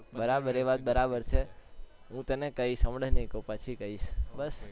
બરાબર એ વાત બરાબર છે હું તને કઈશ હમણાં નહી કઉ પછી કઈશ બસ